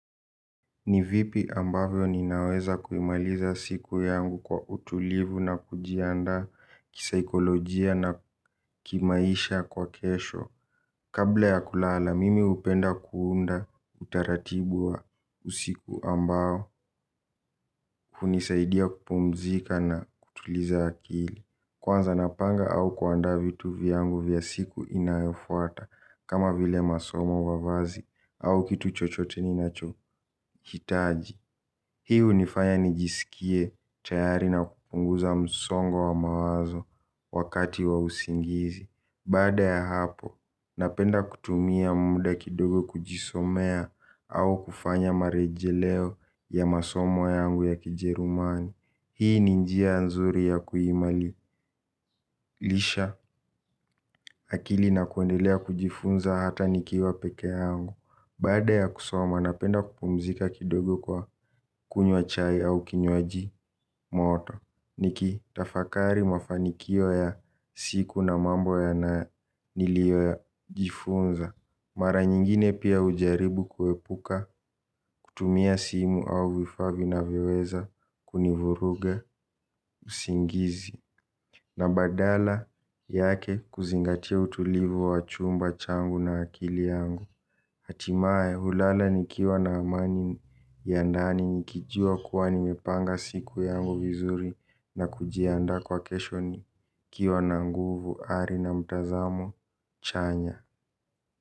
Ni vipi ambavyo ninaweza kuimaliza siku yangu kwa utulivu na kujiandaa kisaikolojia na kimaisha kwa kesho. Kabla ya kulala, mimi hupenda kuunda utaratibu wa usiku ambao hunisaidia kupumzika na kutuliza akili. Kwanza napanga au kuandaa vitu vyangu vya siku inayofuata kama vile masomo mavazi au kitu chochote ninacho hitaji. Hii hunifanya nijisikie, tayari na kupunguza msongo wa wa mawazo wakati wa usingizi. Baada ya hapo, napenda kutumia muda kidogo kujisomea au kufanya marejeleo ya masomo yangu ya kijerumani. Hii ni njia nzuri ya kuhimalisha, akili na kuendelea kujifunza hata nikiwa pekee yangu. Baada ya kusoma, napenda kupumzika kidogo kwa kunywa chai au kinywaji. Nikitafakari mafanikio ya siku na mambo ya nilio ya jifunza. Mara nyingine pia ujaribu kuepuka kutumia simu au vifaa vinavyoweza kunivuruga usingizi na badala yake kuzingatia utulivu wa chumba changu na akili yangu. Hatimae hulala nikiwa na amani ya ndani nikijua kuwa nimepanga siku yangu vizuri na kujianda kwa kesho nikiwa na nguvu ari na mtazamo chanya.